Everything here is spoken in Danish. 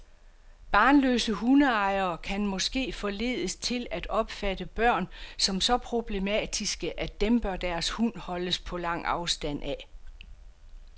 Barnløse hundeejere kan måske forledes til at opfatte børn som så problematiske, at dem bør deres hund holdes på lang afstand af.